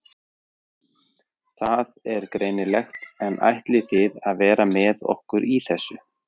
Það er greinilegt en ætlið þið að vera með okkur í þessu?